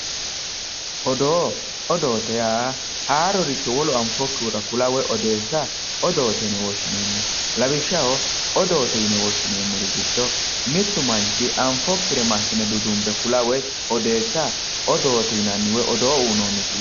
Odoo, odoote yaa haaroricho wolu anfokkihura woyi odeessa odoote yinne woshshineemmo, lawishshaho odoote yinne woshshineemmori giddo mitu manchi anfokkire massine duduwa woyi kula odoote woyi odoo uyinosi yinnanni.